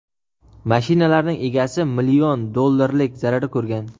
mashinalarning egasi million dollarlik zarar ko‘rgan.